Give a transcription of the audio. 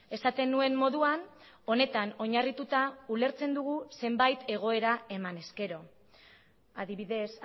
esaten nuen moduan honetan oinarrituta ulertzen dugu zenbait egoera eman ezkero adibidez